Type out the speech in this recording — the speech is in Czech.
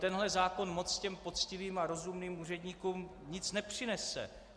Tenhle zákon moc těm poctivým a rozumným úředníkům nic nepřinese.